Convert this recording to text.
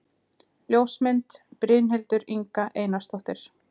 Ljósmynd: Brynhildur Inga Einarsdóttir